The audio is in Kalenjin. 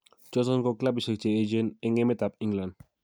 "Choton ko kilabishek che yechen en emetab England "